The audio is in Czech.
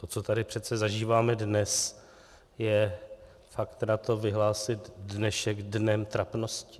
To, co tady přece zažíváme dnes, je fakt na to vyhlásit dnešek dnem trapnosti.